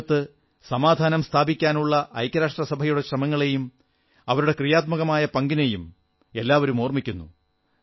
ലോകത്ത് ശാന്തി സ്ഥാപിക്കാനുള്ള ഐക്യരാഷ്ട്ര സഭയുടെ ശ്രമങ്ങളെയും അവരുടെ ക്രിയാത്മകമായ പങ്കിനെയും ഏവരും ഓർമ്മിക്കുന്നു